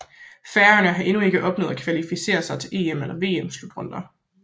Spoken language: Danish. Færøerne har endnu aldrig opnået at kvalificere sig til EM eller VM slutrunder